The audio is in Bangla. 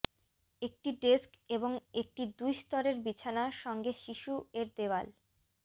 একটি ডেস্ক এবং একটি দুই স্তরের বিছানা সঙ্গে শিশু এর দেয়াল